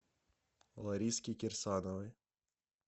лариски кирсановой